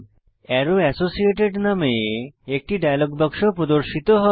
আরো এসোসিয়েটেড নামে একটি ডায়ালগ বাক্স প্রদর্শিত হয়